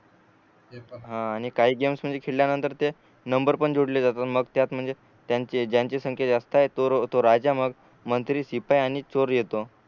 आणि काही गेम्स म्हणजे खेळल्या नंतर ते नंबर्स पण जोडल्या जातात मग त्यात म्हणजे त्यांची ज्यांची संख्या जास्त आहे तो राजा मग मंत्री शिपाही आणि चोर येतो